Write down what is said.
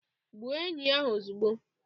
Gbuo enyí ahụ ozugbo